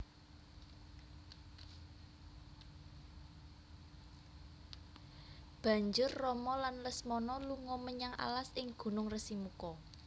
Banjur Rama lan Lesmana lunga menyang alas ing gunung Resimuka